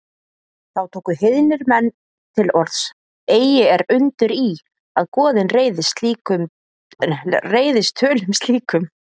Þá tóku heiðnir menn til orðs: Eigi er undur í, að goðin reiðist tölum slíkum